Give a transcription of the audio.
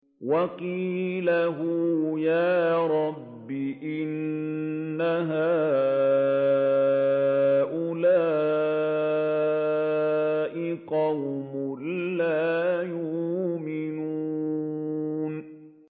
وَقِيلِهِ يَا رَبِّ إِنَّ هَٰؤُلَاءِ قَوْمٌ لَّا يُؤْمِنُونَ